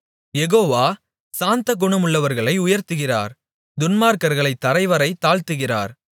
யெகோவா சாந்தகுணமுள்ளவர்களை உயர்த்துகிறார் துன்மார்க்கர்களைத் தரைவரை தாழ்த்துகிறார்